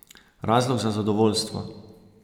Razlog za zadovoljstvo?